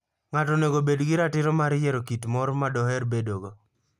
Ng'ato onego obed gi ratiro mar yiero kit mor ma doher bedogo.